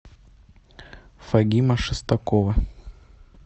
фагима шестакова